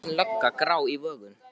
Og þéttvaxin lögga, grá í vöngum.